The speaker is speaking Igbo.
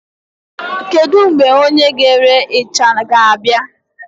Kedu mgbe onye na-ere isha ga-abịa?